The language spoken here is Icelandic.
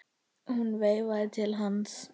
Hún veifaði til hans.